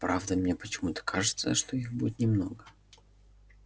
правда мне почему-то кажется что их будет немного